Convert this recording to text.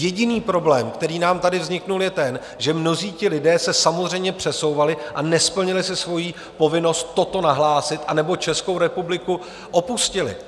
Jediný problém, který nám tady vznikl, je ten, že mnozí ti lidé se samozřejmě přesouvali a nesplnili si svojí povinnost toto nahlásit, anebo Českou republiku opustili.